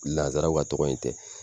Lasaraw ka tɔgɔ in tɛ